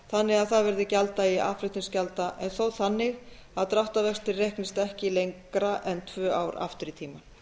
þannig að það verði gjalddagi aðflutningsgjalda en þó þannig að dráttarvextir reiknist ekki lengra en tvö ár aftur í tímann